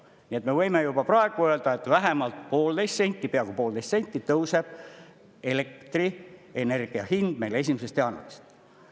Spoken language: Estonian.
Nii et me võime juba praegu öelda, et vähemalt poolteist senti, peaaegu poolteist senti tõuseb elektrienergia hind meil 1. jaanuarist.